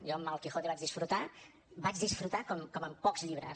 jo amb el quijote vaig disfrutar vaig disfrutar com amb pocs llibres